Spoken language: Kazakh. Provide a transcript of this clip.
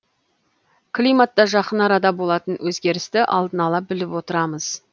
климатта жақын арада болатын өзгерісті алдын ала біліп отырамыз